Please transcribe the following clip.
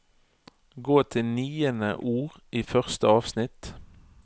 Gå til niende ord i første avsnitt